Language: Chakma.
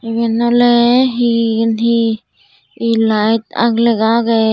eben ole he eyen he elite aag legha aagey.